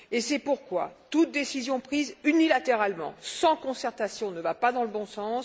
c'est pourquoi aucune décision prise unilatéralement, sans concertation, ne va dans le bons sens.